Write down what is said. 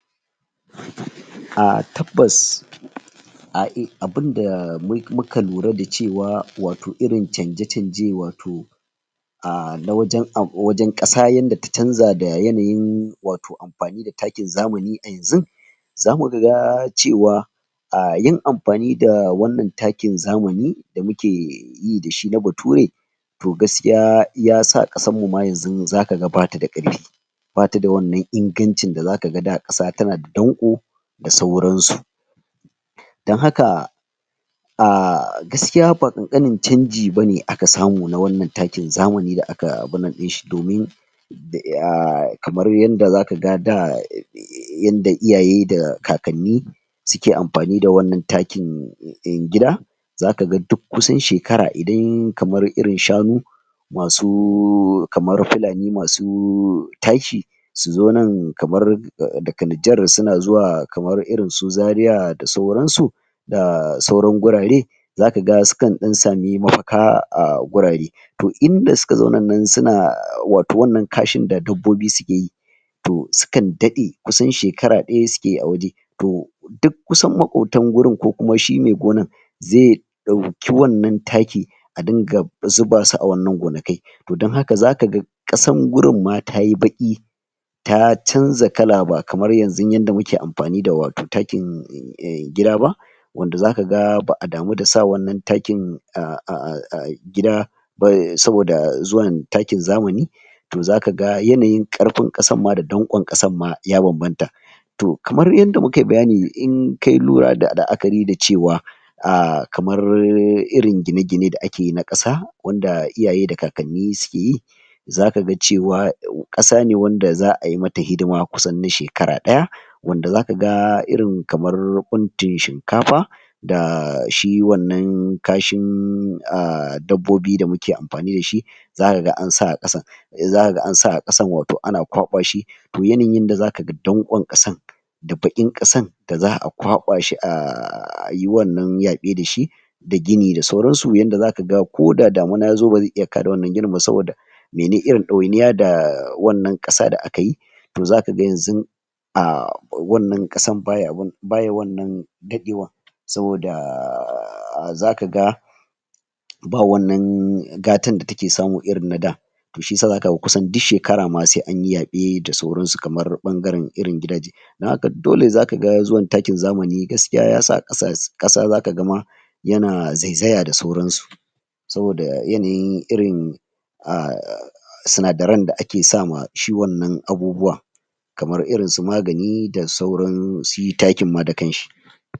um Tabbas um abinda um muka lura da cewa wato irin canje-canje wato um na wajen um ƙasa yanda ta canza da yanayin wato amfani da takin zamani a yanzun, zamu ga cewa um yin amfani da wannan takin zamani da muke yi da shi na Bature to gaskiya yasa ƙasar mu ma yanzu zaka ga bata da ƙarfi, bata da wannan ingancin da zaka ga da ƙasa tana danƙo da sauran su. Don haka um gaskiya ba ƙanƙanin canji bane aka samu na wannan takin zamani da aka abin nan ɗin shi, domin um kamar yanda zaka da um yanda iyaye um da kakanni suke amfani da wannan takin um gida zaka ga duk kusan shekara idan kamar irin shanu masu kamar Fulani masu taki su zo nan kamar daga Niger suna zuwa kamar irin su Zaria da sauran su da sauran gurare zaka ga sukan ɗan sami mafaka a gurare, to inda suka zaunan nan suna wato wannan kashin da dabbobi suke yi to sukan daɗe, kusan shekara ɗaya suke yi a waje, to duk kusan maƙotan gurin ko kuma shi mai gonar zai ɗauki wannan taki a dinga zuba su a wannan gonakai to don haka zaka ga ƙasan gurin ma tayi baƙi ta canza kala, ba kamar yanzun yanda muke amfani da wato takin um gida ba wanda zaka ga ba'a damu da sa wannan takin um a gida ba um saboda zuwan takin zamani to zaka ga yanayin ƙarfin ƙasar ma da danƙon ƙasan ma ya banbanta to kamar yanda mukai bayani in kai lura da la'akari da cewa um kamar irin gine-gine da ake na ƙasa wanda iyaye da kakanni suke yi zaka ga cewa ƙasa ne wanda za'a yi mata hidima kusan na shekara ɗaya wanda zaka ga irin kamar ɓuntun shinkafa da shi wannan kashin um dabbobi da muke amfani da shi, zaka ga ansa a ƙasan zaka ga ansa a ƙasan wato ana kwaɓa shi to yanayin yanda zaka ga danƙon ƙasan da baƙin ƙasan da za'a ƙwaɓa shi um a yi wannan yaɓe da shi da gini da sauran su, yanda zaka ga ko da damuna yazo bazai iya kada wannan ginin ba saboda mene, irin ɗawainiya da wannan ƙasa da aka yi to zaka ga yanzun um wannan ƙasan baya abin baya wannan daɗewan saboda um zaka ga ba wannan gatan da take samu irin na da, to shiyasa zaka ga kusan duk shekara ma sai an yi yaɓe da sauran su, kamar ɓangaren irin gidaje don haka dole zaka ga zuwan takin zamani gaskiya yasa ƙasa ƙasa zaka ga ma yana zaizaya da sauran su saboda yanayin irin um sinadaren da ake sama shi wannan abubuwa kamar irin su magani da sauran shi takin ma da kan shi.